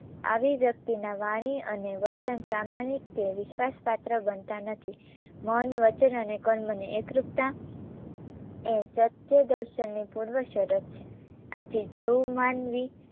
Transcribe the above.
આવી વ્યક્તિના વાણી અને વર્તન પ્રામાણિક કે વિશ્વાસપાત્ર બનતા નથી. મન, વચન અને કર્મની એકરૂપતા એ સત્યદર્શનની પૂર્વશરત છે આથી જેવું માનવી